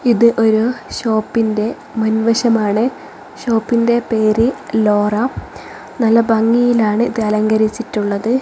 ഇത് ഒരു ഷോപ്പിന്റെ മുൻവശമാണ് ഷോപ്പിന്റെ പേര് ലോറ നല്ല ഭംഗിയിലാണ് ഇത് അലങ്കരിച്ചിട്ടുള്ളത്.